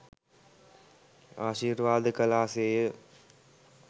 ආශීර්වාද කළා සේය.